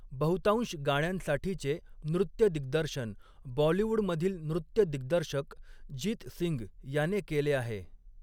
बहुतांश गाण्यांसाठीचे नृत्य दिग्दर्शन बॉलिवूडमधील नृत्य दिग्दर्शक जीत सिंग याने केले आहे.